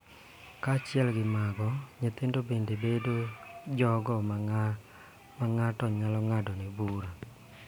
Kaachiel gi mago, nyithindo bende bedo jogo ma ng�ato nyalo ng�adone bura .